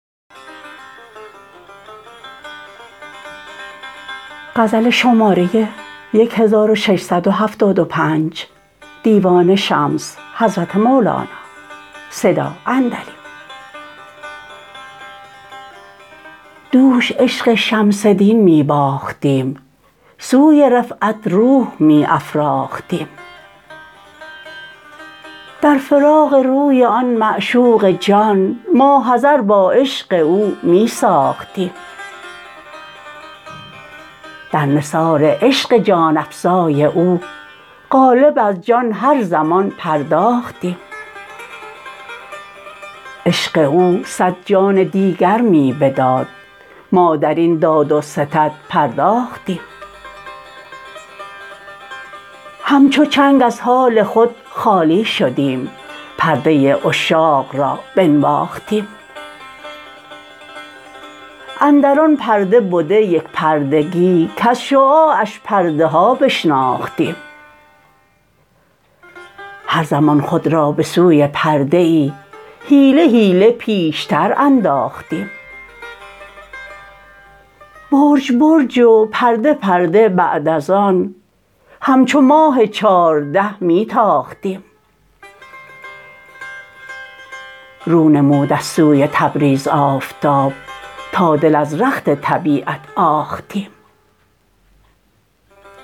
دوش عشق شمس دین می باختیم سوی رفعت روح می افراختیم در فراق روی آن معشوق جان ماحضر با عشق او می ساختیم در نثار عشق جان افزای او قالب از جان هر زمان پرداختیم عشق او صد جان دیگر می بداد ما در این داد و ستد پرداختیم همچو چنگ از حال خود خالی شدیم پرده عشاق را بنواختیم اندر آن پرده بده یک پردگی کز شعاعش پرده ها بشناختیم هر زمان خود را به سوی پرده ای حیله حیله پیشتر انداختیم برج برج و پرده پرده بعد از آن همچو ماه چارده می تاختیم رو نمود از سوی تبریز آفتاب تا دل از رخت طبیعت آختیم